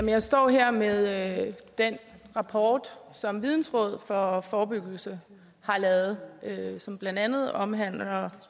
jeg står her med den rapport som vidensråd for forebyggelse har lavet og som blandt andet omhandler